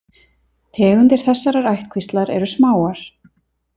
Tegundir þessarar ættkvíslar eru smáar.